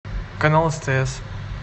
канал стс